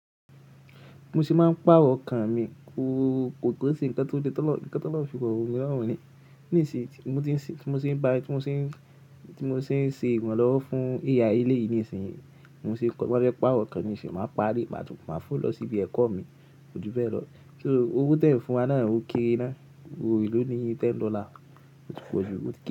Bí mo ṣe máa ń pàrọ̀ ọkàn mi, koo, kò kì ń ṣe ńkan tó le, nǹkan tolorun nǹkan tólọ̀run fi ro mi lọrun ni. Nísìyí, tí mo ṣe ń bá, tí mo ṣe ń, tí mo ṣe ń ṣe iranlọ́wọ́ fún AI eléyìí nísìyí, mo ṣe kọ, má bí ẹ pàrọ̀ ọkàn mi ṣe máa parí, màá tún máa fò lọ sí ibi ẹ̀kọ́ mi, kò jú bẹ́ẹ̀ lọ. So owó tí ẹ̀ ń fún wa náà ò kéré ná, owó elo ni, ten dollar, ò ti kéré jù.